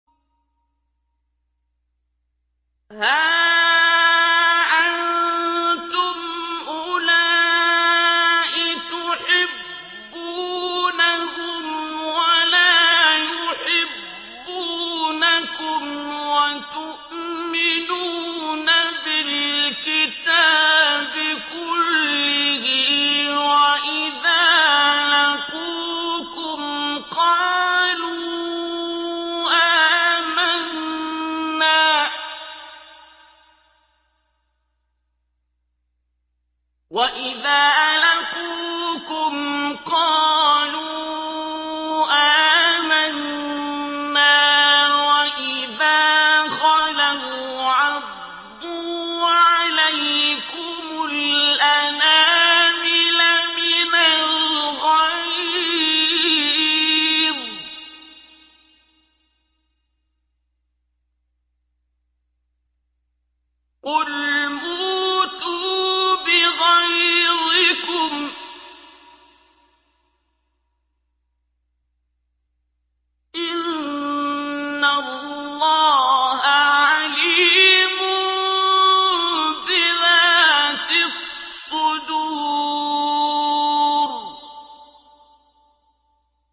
هَا أَنتُمْ أُولَاءِ تُحِبُّونَهُمْ وَلَا يُحِبُّونَكُمْ وَتُؤْمِنُونَ بِالْكِتَابِ كُلِّهِ وَإِذَا لَقُوكُمْ قَالُوا آمَنَّا وَإِذَا خَلَوْا عَضُّوا عَلَيْكُمُ الْأَنَامِلَ مِنَ الْغَيْظِ ۚ قُلْ مُوتُوا بِغَيْظِكُمْ ۗ إِنَّ اللَّهَ عَلِيمٌ بِذَاتِ الصُّدُورِ